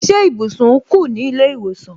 Ṣé ibùsùn kù ní ilé ìwòsàn